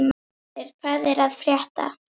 Brimhildur, hvað er að frétta?